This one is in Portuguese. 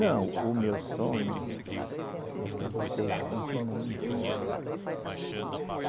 Não, o meu sonho é que vocês continuem isso.